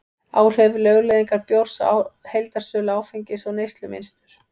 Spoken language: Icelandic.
áhrif lögleiðingar bjórs á heildarsölu áfengis og neyslumynstur